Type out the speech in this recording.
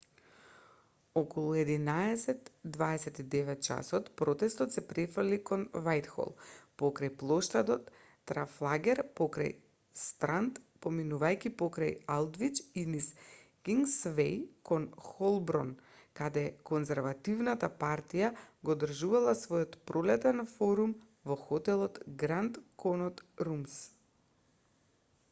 околу 11:29 ч протестот се префрлил кон вајтхол покрај плоштадот трафалгар покрај странд поминувајќи покрај алдвич и низ кингсвеј кон холборн каде конзервативната партија го одржувала својот пролетен форум во хотелот гранд конот румс